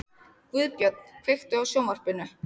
Guðbjörn, kveiktu á sjónvarpinu.